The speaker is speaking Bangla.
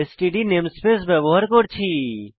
এসটিডি নেমস্পেস ব্যবহার করেছি